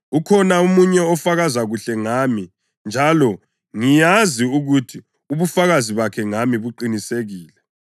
Ukhona omunye ofakaza kuhle ngami njalo ngiyazi ukuthi ubufakazi bakhe ngami buqinisekile.